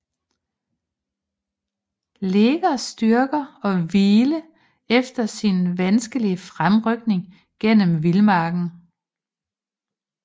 Legers styrker og hvile efter sin vanskelige fremrykning gennem vildmarken